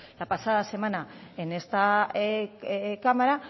la pasada semana en esta cámara